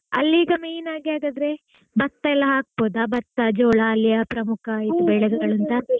ಅಲ್ಲಿ ಈಗ main ಆಗಿ ಹಾಗಾದ್ರೆ ಭತ್ತ ಎಲ್ಲಾ ಹಾಕ್ಬೋದ ಭತ್ತ ಜೋಳ ಅಲ್ಲಿಯ ಪ್ರಮುಖ ಬೆಳೆಗಳ .